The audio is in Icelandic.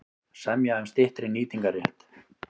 Semja um styttri nýtingarrétt